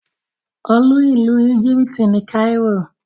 Olú ìlú Egypt ni Cairo.